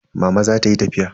Mama za ta yi tafiya.